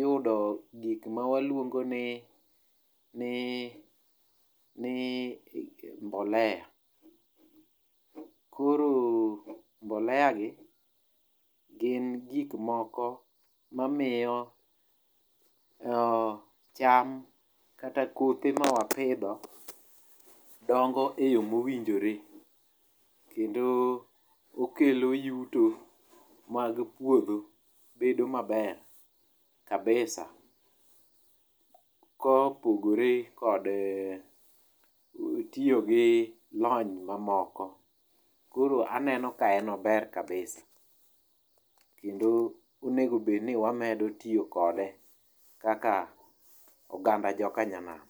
yudo gik ma wanyalo luongo ni ni ni mbolea koro mbolea gi gin gik moko mamiyo o cham kata kothe ma wapidho dongo e yo mowinjore kendo kelo yuto mag puodho bedo maber kabisa kopogore kod lony mamoko koro aneno ni en ober kabisa. koro aneno ni onego bedni wamedo tiyo kode kaka oganda jokanyanam.